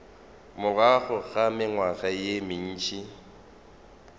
morago ga mengwaga ye mentši